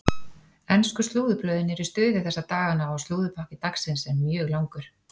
Ensku slúðurblöðin eru í stuði þessa dagana og slúðurpakki dagsins er mjög langur.